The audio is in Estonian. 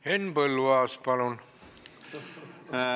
Henn Põlluaas, palun!